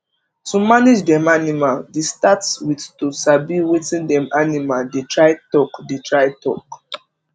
to manage dem animal the start with to sabi wetin dem animal dey try talk dey try talk